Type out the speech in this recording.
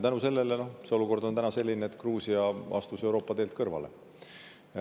Ja selle tõttu on see olukord täna selline, et Gruusia astus Euroopa teelt kõrvale.